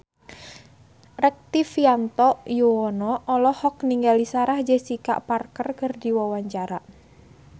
Rektivianto Yoewono olohok ningali Sarah Jessica Parker keur diwawancara